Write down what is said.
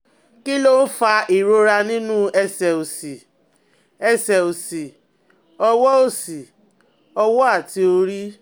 Kí ló ń fa ìrora nínú ẹ̀sẹ̀ òsì, ẹsẹ̀ òsì, ọwọ́ òsì, ọwọ́ àti orí?